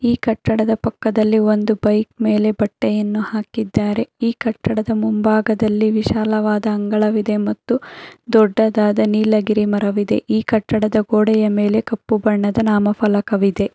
ಈ ಕಟ್ಟಡದ ಪಕ್ಕದಲ್ಲಿ ಒಂದು ಬೈಕ್ ಮೇಲೆ ಬಟ್ಟೆಯನ್ನು ಹಾಕಿದ್ದಾರೆ ಈ ಕಟ್ಟಡದ ಮುಂಭಾಗದಲ್ಲಿ ವಿಶಾಲವಾದ ಅಂಗಳವಿದೆ ಮತ್ತು ದೊಡ್ಡದಾದ ನೀಲಗಿರಿ ಮರವಿದೆ ಈ ಕಟ್ಟಡದ ಗೋಡೆ ಮೇಲೆ ಕಪ್ಪು ಬಣ್ಣದ ನಾಮಫಲಕವಿದೆ.